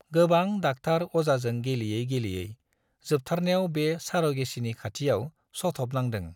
गोबां डाक्टार अजाजों गेलेयै गेलेयै जोबथारनायाव बे सार' गेचिनि खाथियाव सथ'बनांदों।